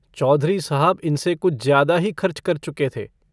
चौधरी साहब इनसे कुछ ज्यादा ही खर्च कर चुके थे।